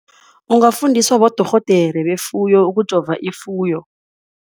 Ungafundiswa bodorhodere befuyo ukujova ifuyo.